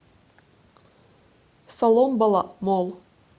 соломбала молл